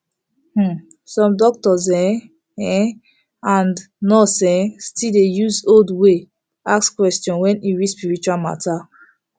hmm some doctors en um and nurse um still dey use old way ask question when e reach spiritual matter